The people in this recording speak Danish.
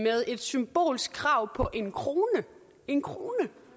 et symbolsk krav på en kroner en kroner